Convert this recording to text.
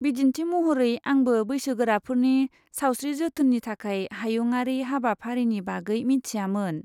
बिदिन्थि महरै, आंबो बैसोगोराफोरनि सावस्रि जोथोननि थाखाय हायुंआरि हाबाफारिनि बागै मिथियामोन।